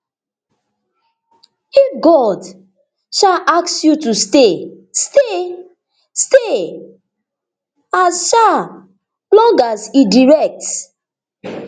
if god um ask you to stay stay as um long as e direct